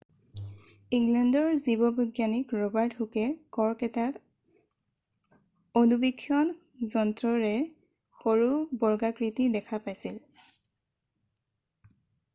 ইংলেণ্ডৰ জীৱবৈজ্ঞানিক ৰবাৰ্ট হুকে কৰ্ক এটাত অণুবীক্ষণ যন্ত্ৰৰে সৰু বৰ্গাকৃতি দেখা পাইছিল